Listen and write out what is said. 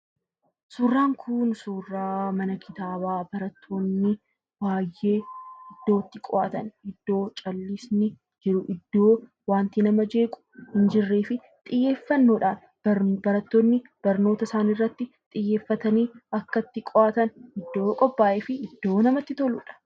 Suuraan kun suuraa mana kitaabaa batmrattoonni baay'ee iddoo itti qo'atan, iddoo callisni jiru, iddoo wanti nama jeequ hin jirree fi xiyyeeffannoodhaan barattoonni barnoota isaanii irratti xiyyeeffatanii bakkatti qo'atan iddoo qophaa'e fi iddoo namatti toludha.